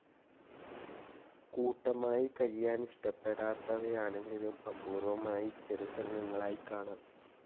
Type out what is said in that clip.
കൂട്ടമായി കഴിയാനിഷ്ടപ്പെടാത്തവയാണെങ്കിലും അപൂർ‌വ്വമായി ചെറുസംഘങ്ങളായി കാണാം.